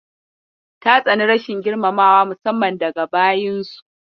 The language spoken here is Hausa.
Ta tsani rashin girmamawa musamman daga bayinsu.